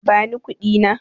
Bani kuɗi na.